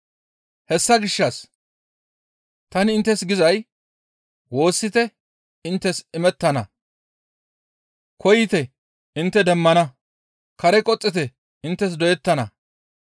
«Hessa gishshas tani inttes gizay woossite inttes imettana; koyite intte demmana; kare qoxxite inttes doyettana.